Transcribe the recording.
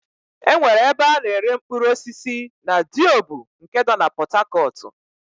E nwere ebe a na-ere mkpụrụosisi na Diobu nke nọ na Pọtakọtụ.